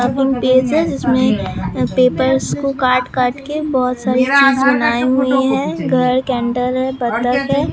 जिसमें पेपर्स को काट काट के बहोत सारे चीजे हैं घर के अंदर --